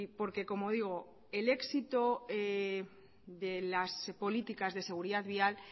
porque como digo el éxito de las políticas de seguridad vial